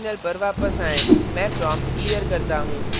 terminal पर वापस आएँ मैं prompt clear करता हूँ